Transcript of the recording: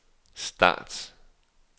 start